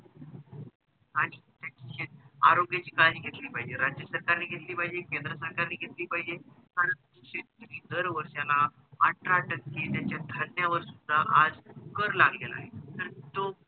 आणि त्याची हरवलेली काळजी घेतली पाहिजे राज्य सरकार ने घेतली पाहिजे केंद्र सरकार ने घेतली पाहिजे आणि शेतकरी दर वर्षाला अठरा टक्के त्याचा ठरना सुद्धा आज कर लागला आहे तर तो